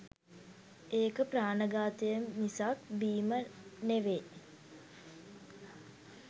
ඒක ප්‍රාණඝාතය මිසක් බීම නෙවේ.